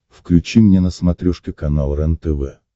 включи мне на смотрешке канал рентв